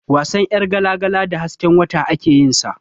Wasan ƴargala-gala da hasken wata ake yin sa.